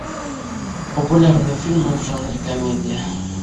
популярные фильмы в жанре комедия